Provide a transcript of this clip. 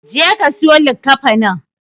Jeka ka siyo likkafanin.